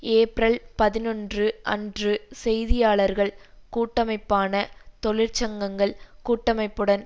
April பதினொன்று அன்று செய்தியாளர்கள் கூட்டமைப்பான தொழிற்சங்கங்கள் கூட்டமைப்புடன்